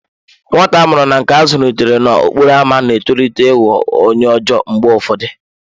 Nwata a mụrụ na nke a zụlitere n'okporo ámá na-etolite ịghọ onye ọjọọ mgbe ụfọdụ.